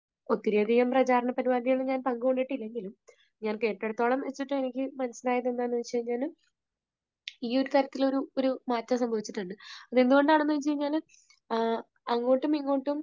ഒത്തിരി അധികം പ്രചാരണ പരിപാടികളിൽ ഞാൻ പങ്കു കൊണ്ടിട്ടില്ലെങ്കിലും ഞാൻ കേട്ടെടുത്തോളം വെച്ചിട്ട് എനിക്ക് മനസ്സിലായില്ല എന്താണെന്ന് വെച്ചുകഴിഞ്ഞാൽ ഈയൊരു തരത്തിലൊരു മാറ്റം സംഭവിച്ചിട്ടുണ്ട്. അതെന്തുകൊണ്ടാണെന്ന് ചോദിച്ചു കഴിഞ്ഞാൽ ആ ആ, അങ്ങോട്ടുമിങ്ങോട്ടും